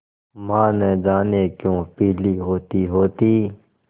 माँ न जाने क्यों पीली होतीहोती